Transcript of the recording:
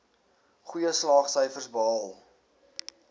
goeie slaagsyfers behaal